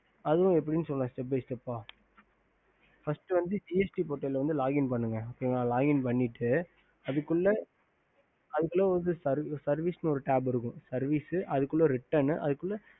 அதுவும் எப்படினு சொல்ற step by step first gst portal login பண்ணிட்டு தூக்குல services tap இருக்கும் services அதுக்குள்ளே written அதுக்குள்ளே